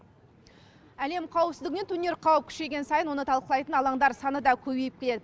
әлем қауіпсіздігіне төнер қауіп күшейген сайын оны талқылайтын алаңдар саны да көбейіп келеді